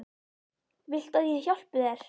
Viltu að ég hjálpi þér?